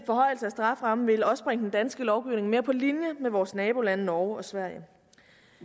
strafferammen vil også bringe den danske lovgivning mere på linje med vores nabolande norge og sverige